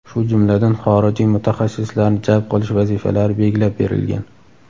shu jumladan xorijiy mutaxassislarni jalb qilish vazifalari belgilab berilgan.